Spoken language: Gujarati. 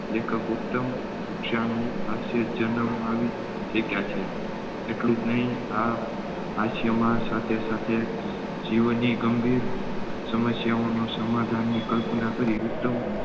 લેખક ઉત્તમ કક્ષાનું હાસ્ય જન્માવી શક્ય છે. એટલુંજ નહિ આ હાસ્યમાં સાથે સાથે જીવ ની ગમ્ભીર સમસ્યાઓનો સમાધાન ની કલ્પના કરી ઉત્તમ